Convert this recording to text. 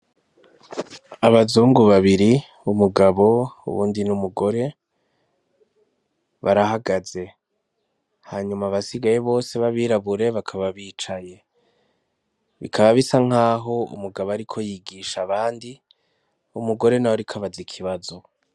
Abazungu babiri umugabo ubundi n'umugore barahagaze hanyuma abasigaye bose b'abirabure bakaba bicaye bikaba bisa nk'aho umugabo ari ko yigisha abandi umugore n'a w arikabaza ikibazo.